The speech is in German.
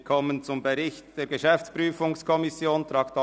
Wir kommen zum Bericht der GPK, Traktandum 42.